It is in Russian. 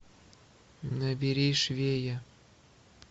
набери швея